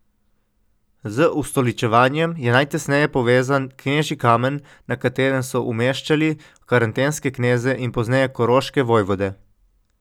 Z ustoličevanjem je najtesneje povezan knežji kamen, na katerem so umeščali karantanske kneze in pozneje koroške vojvode.